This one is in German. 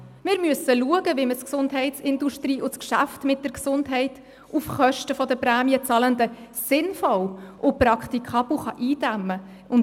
Wir müssen schauen, wie wir die Gesundheitsindustrie und das Geschäft mit der Gesundheit auf Kosten der Prämienzahlenden sinnvoll und praktikabel eindämmen können, und: